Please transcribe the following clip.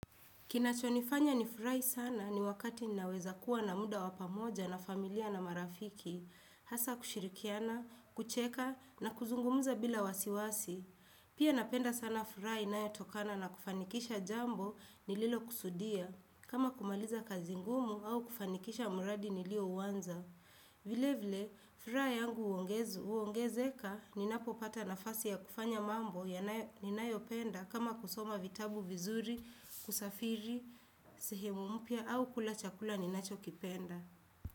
Kinachonifanya nifurahi sana ni wakati naweza kuwa na muda wapamoja na familia na marafiki, hasa kushirikiana, kucheka na kuzungumza bila wasiwasi. Pia napenda sana furaha inayotokana na kufanikisha jambo nililo kusudia, kama kumaliza kazi ngumu au kufanikisha muradi nilio uliouanza. Vile vile, furaha yangu huongezeka ninapo pata nafasi ya kufanya mambo ninayopenda kama kusoma vitabu vizuri, kusafiri sehemu mpya au kula chakula ninachokipenda.